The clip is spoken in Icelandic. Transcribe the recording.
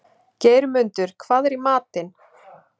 Geirmundur, hvað er í matinn?